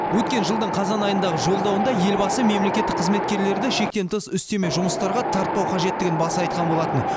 өткен жылдың қазан айындағы жолдауында елбасы мемлекеттік қызметкерлерді шектен тыс үстеме жұмыстарға тартпау қажеттігін баса айтқан болатын